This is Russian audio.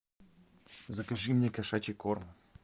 закажи мне кошачий корм